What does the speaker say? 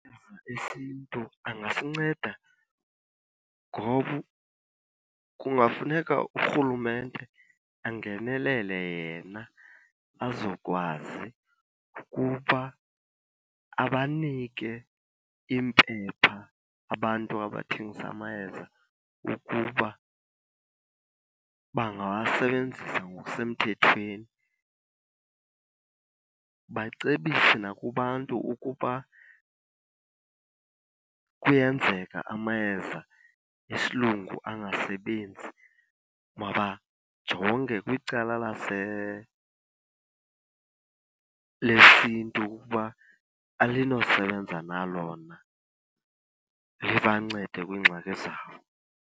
esiNtu angasinceda ngoba kungafuneka urhulumente angenelele yena azokwazi ukuba abanike iimpepha abantu abathengisa amayeza ukuba bangawasebenzisa ngokusemthethweni. Bacebise nakubantu ukuba kuyenzeka amayeza esilungu angasebenzi mabajonge kwicala lesiNtu ukuba alinosebenza na lona libancede kwiingxaki zabo.